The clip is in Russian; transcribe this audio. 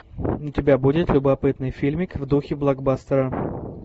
у тебя будет любопытный фильмик в духе блокбастера